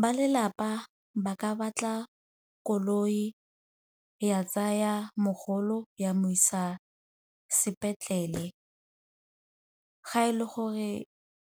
Ba lelapa ba ka batla koloi ya tsaya mogolo ya mo isa sepetlele ga e le gore